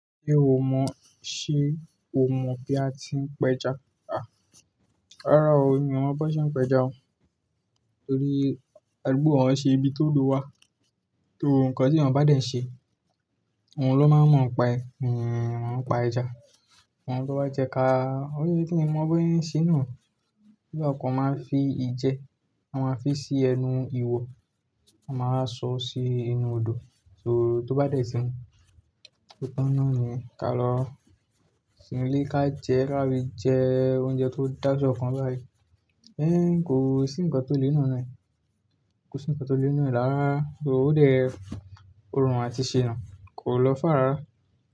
Ṣé o mọ̀, ṣe o mọ̀ pé a ti ń pẹja? Rárá o, mi ò mọ̀ bo ṣe ń pẹja. Torí ẹgbẹ́ wa o nṣe ibi tó òdo wá, so, nkan ti eeyan bá dẹ̀ n ṣe, ohun ló máa ń mọ̀ pa ẹ́, mi mo n pa ẹja, amo tó bá jẹ ka. Òye tí ki n mọ̀ bi won oun se ń ṣe náà, se bi a kan máa fi ìjẹ, wọ́n máa ń fi sí ẹnu iwò, wọ́n máa wa sọ sí inú odò, so tó bá dẹ̀ tí mu, otan náà ni yen ka lọ sinu ilé ká jẹ, ka fi jẹ oúnjẹ tó dájọ́ kan báyìí. Ẹ̀ń, kò sí n kan tó le n nue náà, kò sí n kan tó le n nue rárá rara. So, o dè Orùn a ti ṣe náà kò lọ far rárá.